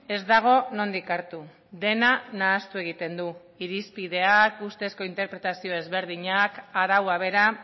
ez dago nondik hartu dena nahastu egiten du irizpideak ustezko interpretazio ezberdinak araua bera